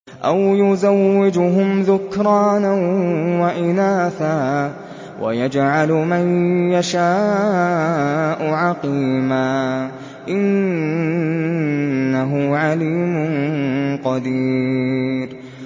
أَوْ يُزَوِّجُهُمْ ذُكْرَانًا وَإِنَاثًا ۖ وَيَجْعَلُ مَن يَشَاءُ عَقِيمًا ۚ إِنَّهُ عَلِيمٌ قَدِيرٌ